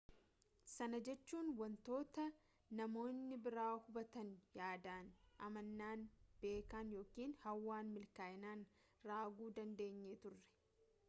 sana jechuun wanta namoonni biraa hubatan yaadan amanan beekan yookin hawwan milkaa'inaan raaguu dandeenyee turre